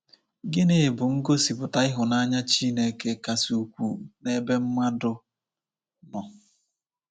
Gịnị bụ ngosipụta ịhụnanya Chineke kasị ukwuu n'ebe mmadụ nọ?